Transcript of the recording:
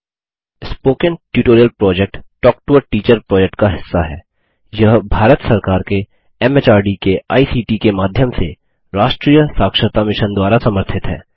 spoken tutorial project talk to a teacher project का हिस्सा है यह भारत सरकार के एमएचआरडी के आईसीटी के माध्यम से राष्ट्रीय साक्षरता मिशन द्वारा समर्थित है